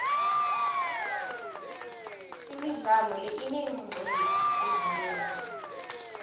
imidlalo le ineeqcephu ezinengi